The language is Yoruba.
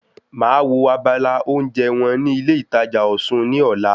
Màá wo abala oúnjẹ wọn ní ilé ìtajà Osun ní ọ̀la